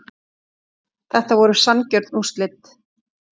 Þetta voru sanngjörn úrslit